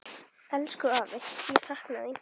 Elsku afi, ég sakna þín.